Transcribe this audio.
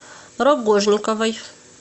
рогожниковой